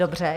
Dobře.